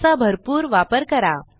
त्याचा भरपूर वापर करा